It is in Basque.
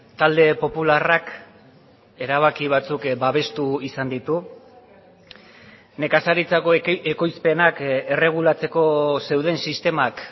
talde popularrak erabaki batzuk babestu izan ditu nekazaritzako ekoizpenak erregulatzeko zeuden sistemak